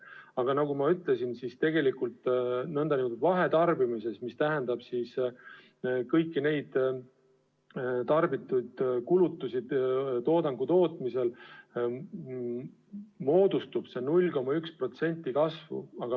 Aga nagu ma ütlesin, tegelikult nn vahetarbimises – see tähendab siis kõiki tehtud kulutusi toodangu tootmisel –, moodustab see tõus 0,1% kulutuste kasvu.